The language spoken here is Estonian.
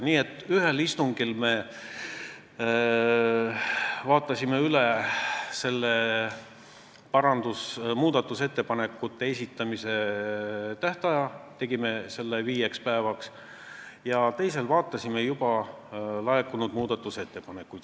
Nii et ühel istungil me muutsime muudatusettepanekute esitamise tähtaega, asendasime selle viie päevaga, ja teisel vaatasime juba laekunud muudatusettepanekuid.